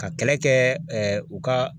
Ka kɛlɛ kɛ u ka